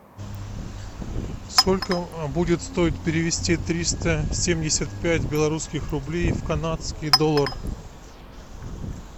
сколько будет стоить перевести триста семьдесят пять белорусских рублей в канадский доллар